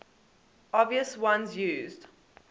obvious ones used